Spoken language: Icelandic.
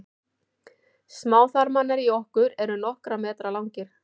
smáþarmarnir í okkur eru nokkurra metra langir